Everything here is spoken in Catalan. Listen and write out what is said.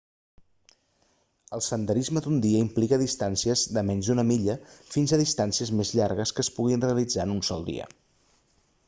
el senderisme d'un dia implica distàncies de menys d'una milla fins a distàncies més llargues que es puguin realitzar en un sol dia